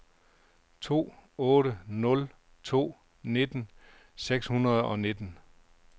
to otte nul to nitten seks hundrede og nitten